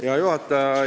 Hea juhataja!